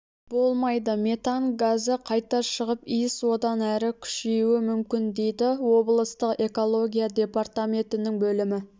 болмайды метан газы қайта шығып иіс одан әрі күшеюі мүмкін дейді облыстық экология департаментінің бөлім